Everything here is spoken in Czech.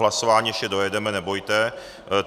Hlasování ještě dojedeme, nebojte.